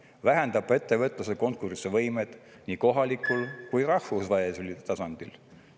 Need vähendavad ettevõtluse konkurentsivõimet nii kohalikul kui rahvusvahelisel tasandil.